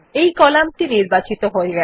এই কলাম টি নির্বাচিত হয়ে গেছে